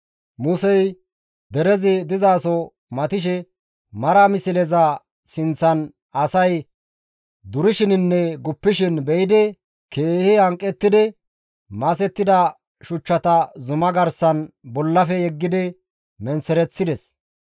Musey derezi dizaso matishe mara misleza sinththan asay durishininne guppishin be7idi keehi hanqettidi masettida shuchchata zuma garsan bollafe yeggidi menththereththides.